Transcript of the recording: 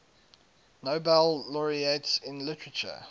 nobel laureates in literature